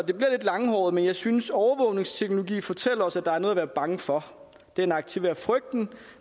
lidt langhåret men jeg synes at overvågningsteknologien fortæller os at der er noget at være bange for den aktiverer frygten